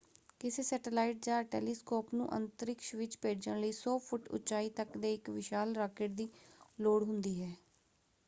ਕਿਸੇ ਸੈਟੇਲਾਈਟ ਜਾਂ ਟੈਲੀਸਕੋਪ ਨੂੰ ਅੰਤਰਿਕਸ਼ ਵਿੱਚ ਭੇਜਣ ਲਈ 100 ਫੁੱਟ ਉੱਚਾਈ ਤੱਕ ਦੇ ਇੱਕ ਵਿਸ਼ਾਲ ਰਾਕੇਟ ਦੀ ਲੋੜ ਹੁੰਦੀ ਹੈ।